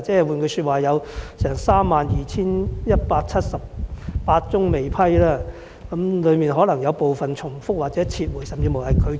換言之，有32178宗未批，當中可能有部分申請重複或已撤回，甚至已被拒絕。